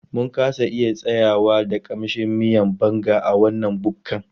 Mun kasa iya tsayayya da ƙamshin miyan Banga a wannan bukkan